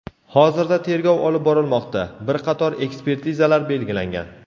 Hozirda tergov olib borilmoqda, bir qator ekspertizalar belgilangan.